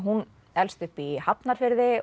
elst upp í Hafnarfirði